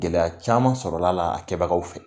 Gɛlɛya caman sɔrɔlala kɛbagaw fɛ.